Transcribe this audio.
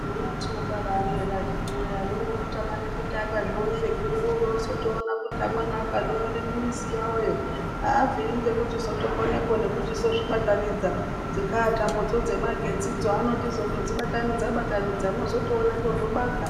Vana vatinobara akhiti woyee amweni unotama kuti akazvione kuri worowotoona kuti amweni akazvionera kumizi yawoyo abviri ngekuchizokone kutozozvibatanidza dzinga tambo dzo dzemagetsi dzo anochizondodzibatanidza batanidza mwozotoonepo zvobaka.